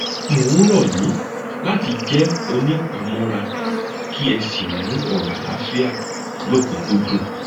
mo ń rọ yín láti jẹ onípamọra kí ẹ sì mú ọrọ àlàáfíà lọkùnúnkúndùn